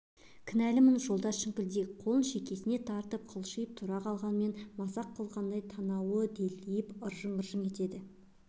кінәлімін жолдас шіңкілдек қолын шекесіне апарып қалшиып тұра қалғанымен мазақ қылғандай танауы делдиіп ыржың-ыржың етеді